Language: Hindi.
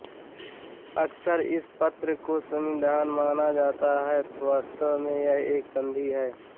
अक्सर इस पत्र को संविधान माना जाता है पर वास्तव में यह एक संधि है